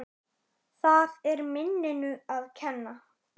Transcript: Það er minninu að kenna.